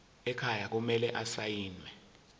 ekhaya kumele asayiniwe